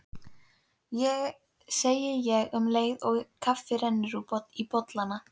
segi ég um leið og kaffið rennur í bollana.